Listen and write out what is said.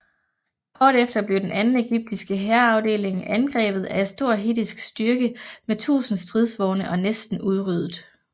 Kort efter blev den anden ægyptiske hærafdeling angrebet af en stor hittittisk styrke med 1000 stridsvogne og næsten udryddet